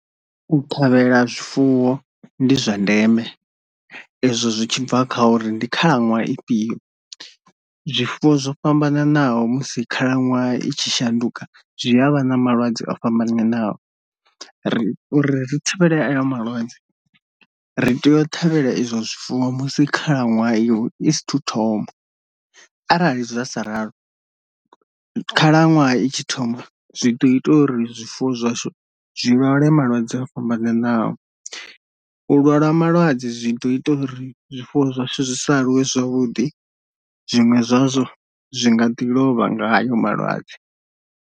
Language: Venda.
U ṱhavhela zwifuwo ndi zwa ndeme ezwo zwi tshi bva kha uri ndi khalaṅwaha ifhio, zwifuwo zwo fhambananaho musi khalaṅwaha i tshi shanduka zwi avha na malwadze o fhambananaho, ri uri ri thivhela malwadze ri tea u ṱhavhela izwo zwifuwo musi khalaṅwaha i i sa thu thoma arali zwa sa ralo khalaṅwaha i tshi thoma zwi ḓo ita uri zwifuwo zwashu zwi lwale malwadze o fhambananaho, u lwala malwadze zwi ḓo ita uri zwifuwo zwashu zwisa aluwe zwavhuḓi zwiṅwe zwazwo zwi nga ḓi lovha nga ayo malwadze.